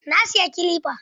Na siyi kilifa.